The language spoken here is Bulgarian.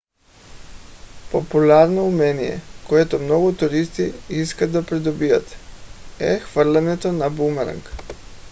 популярно умение което много туристи искат да придобият е хвърлянето на бумеранг